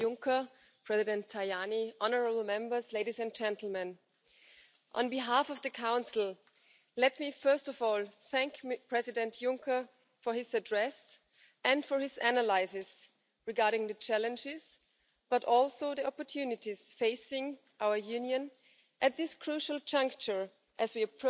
This is particularly important in this period as we near the end of the parliamentary term. As President Juncker mentioned, we have a lot of work to do